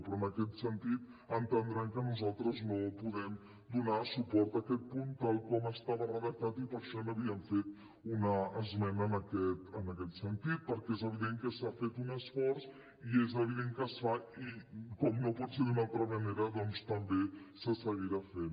però en aquest sentit entendran que nosaltres no podem donar suport a aquest punt tal com estava redactat i per això hi havíem fet una esmena en aquest sentit perquè és evident que s’ha fet un esforç i és evident que es fa i com no pot ser d’una altra manera doncs també se seguirà fent